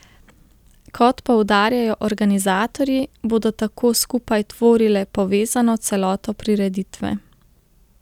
Kot poudarjajo organizatorji, bodo tako skupaj tvorile povezano celoto prireditve.